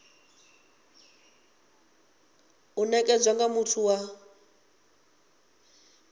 u nekedzwa nga muthu wa